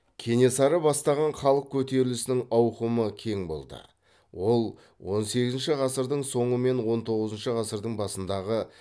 кенесары бастаған халық көтерілісінің ауқымы кең болды ол он сегізінші ғасырдың соңы мен он тоғызыншы ғасырдың басындағы